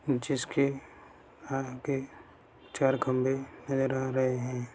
जिसके आगे चार खम्भे नजर आ रहे हैं।